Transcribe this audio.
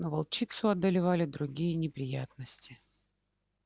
но волчицу одолевали другие неприятности